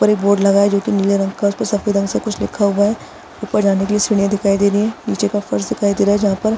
ऊपर एक बोर्ड लगा है जो की नीले रंग का है उसपे सफ़ेद रंग से कुछ लिखा हुआ है ऊपर जाने के लिए सीढ़ियां दिखाई दे रही है निचे का फर्श दिखाई दे रहा है जहाँ पर --